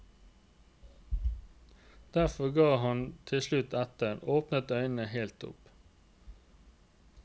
Derfor gav han til slutt etter, åpnet øynene helt opp.